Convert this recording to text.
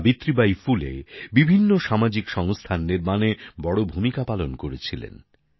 সাবিত্রী বাই ফুলে বিভিন্ন সামাজিক সংস্থার নির্মাণে বড়ো ভূমিকা পালন করেছিলেন